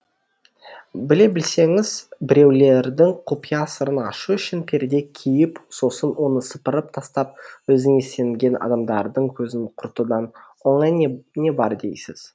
біле білсеңіз біреулердің құпия сырын ашу үшін перде киіп сосын оны сыпырып тастап өзіңе сенген адамдардың көзін құртудан оңай не бар дейсіз